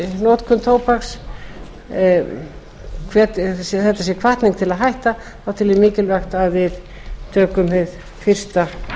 notkun tóbaks þetta sé hvatning til að hætta tel ég mikilvægt að við tökum hið fyrsta